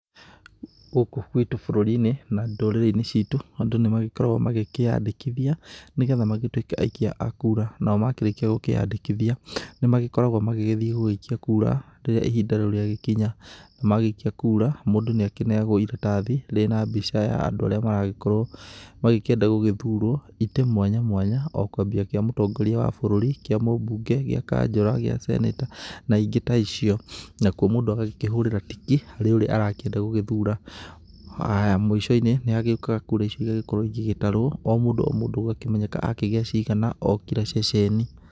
Gũkũ gwitũ bũrũri-inĩ na ndũrĩrĩ-inĩ citũ, andũ nĩ magĩkoragwo magĩkĩyandĩkithia nĩgetha magĩtuĩke aikia a kura. Nao makĩrĩkia gũkĩyandĩkithia, nĩ magĩkoragwo magĩgĩthiĩ gũgĩikia kura rĩrĩa ihinda rĩu rĩagĩkinya. Na magĩikia kura, mũndũ nĩ akĩneagwo iratathi rĩna mbica ya andũ arĩa maragĩkorwo magĩkĩenda gũgĩthurwo, itĩ mwanya mwanya, o kwambia gĩa mũtongoria wa bũrũri, kĩa mũmbunge, gĩa kanjũra, gĩa seneta na ingĩ ta icio. Nakuo mũndũ agakĩhũrĩra tiki harĩ ũrĩa arakĩenda gũgĩthura. Mũico-inĩ nĩ hagĩũkaga kura icio igagĩkorwo igĩgĩtarwo o mũndũ o mũndũ gũgakĩmenyeka akĩgĩa cigana o kira ceceni.